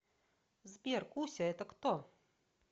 сбер куся это кто